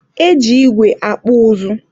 e ji igwe akpụ ụzụ.